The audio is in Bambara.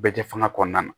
Bɛɛ kɛ fanga kɔnɔna na